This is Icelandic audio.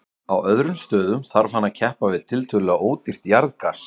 Á öðrum stöðum þarf hann að keppa við tiltölulega ódýrt jarðgas.